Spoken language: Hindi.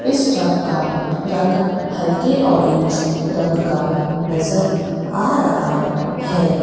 इस ट्रक का रंग हल्के ऑरेंज रंग का नजर आ रहा है।